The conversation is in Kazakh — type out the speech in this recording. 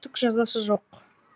түк жазасы жоқ